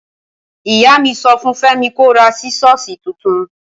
Ìyámí sọfún Fẹmi kó rà sísọ̀sí títùn.